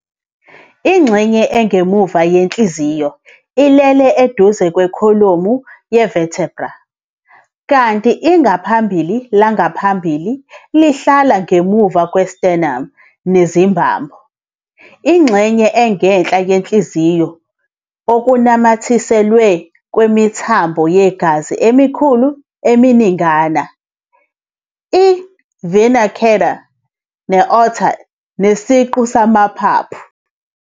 Ingxenye engemuva yenhliziyo ilele eduze kwekholomu ye-vertebral, kanti ingaphambili langaphambili lihlala ngemuva kwe-sternum nezimbambo.]. Ingxenye engenhla yenhliziyo okunamathiselwe kwemithambo yegazi emikhulu eminingana - i-venae cavae, i-aorta nesiqu samaphaphu.